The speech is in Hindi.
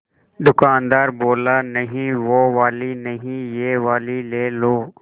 दुकानदार बोला नहीं वो वाली नहीं ये वाली ले लो